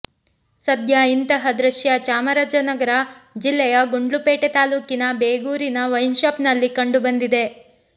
ಸದ್ಯ ಇಂತಹ ದೃಶ್ಯ ಚಾಮರಾಜನಗರ ಜಿಲ್ಲೆಯ ಗುಂಡ್ಲುಪೇಟೆ ತಾಲೂಕಿನ ಬೇಗೂರಿನ ವೈನ್ ಶಾಪ್ ನಲ್ಲಿ ಕಂಡು ಬಂದಿದೆ